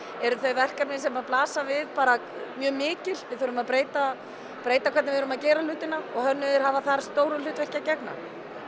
eru þau verkefni sem blasa við bara mjög mikil við þurfum að breyta breyta hvernig við erum að gera hlutina og hönnuðir hafa þar stóru hlutverki að gegna